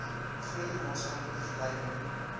groter maatskaplike gelykheid